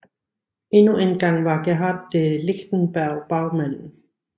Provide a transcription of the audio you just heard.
Endnu engang var Gerhard de Lichtenberg bagmanden